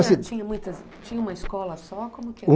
assim... Lá tinha muitas, tinha uma escola só? Como que e?